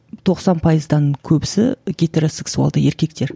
тоқсан пайыздан көбісі гетеросексуалды еркектер